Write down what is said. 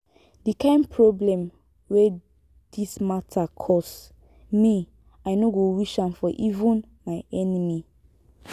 the kyn problem wey dis matter cause me i no go wish am for even my enemy